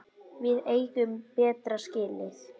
Við eigum betra skilið.